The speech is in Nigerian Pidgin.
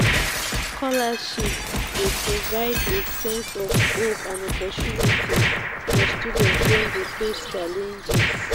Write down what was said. scholarships dey provide a sense of hope and opportunity for students wey dey face challenges.